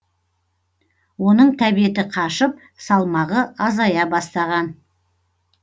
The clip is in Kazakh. оның тәбеті қашып салмағы азая бастаған